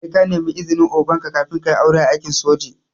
Sai ka nemi izinin oganka kafin kayi aure a aikin soji